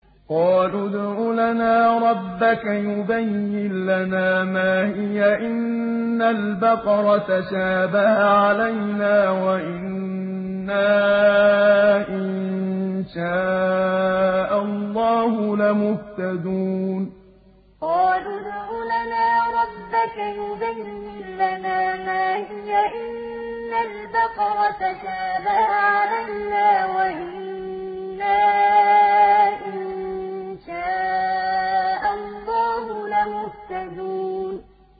قَالُوا ادْعُ لَنَا رَبَّكَ يُبَيِّن لَّنَا مَا هِيَ إِنَّ الْبَقَرَ تَشَابَهَ عَلَيْنَا وَإِنَّا إِن شَاءَ اللَّهُ لَمُهْتَدُونَ قَالُوا ادْعُ لَنَا رَبَّكَ يُبَيِّن لَّنَا مَا هِيَ إِنَّ الْبَقَرَ تَشَابَهَ عَلَيْنَا وَإِنَّا إِن شَاءَ اللَّهُ لَمُهْتَدُونَ